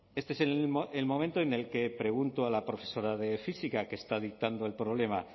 este es el momento en el que pregunto a la profesora de física que está dictando el problema